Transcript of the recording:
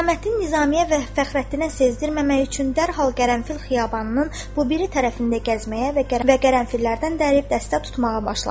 Hüsamməddin Nizamiya və Fəxrəddinə sezdirməmək üçün dərhal qərənfil xiyabanının bu biri tərəfində gəzməyə və qərənfillərdən dərib dəstə tutmağa başladı.